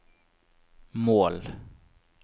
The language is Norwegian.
mål